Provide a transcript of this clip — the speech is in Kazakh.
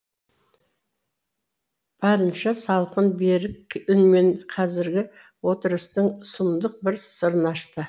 барынша салқын берік үнмен қазіргі отырыстың сұмдық бір сырын ашты